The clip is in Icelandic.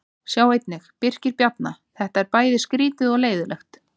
Sjá einnig: Birkir Bjarna: Þetta er bæði skrýtið og leiðinlegt